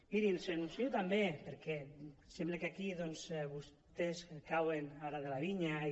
mirin els ho anuncio també perquè sembla que aquí doncs vostès cauen ara de la vinya i